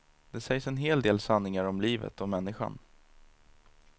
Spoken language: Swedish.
Det sägs en hel del sanningar om livet och människan.